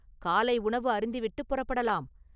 காலை உணவு அருந்திவிட்டுப் புறப்படலாம்.